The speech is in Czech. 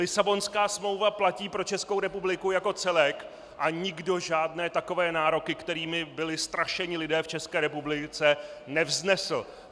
Lisabonská smlouva platí pro Českou republiku jako celek a nikdo žádné takové nároky, kterými byli strašeni lidé v České republice, nevznesl.